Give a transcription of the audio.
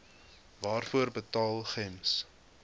waarvoor betaal gems